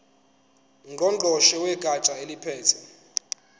ngqongqoshe wegatsha eliphethe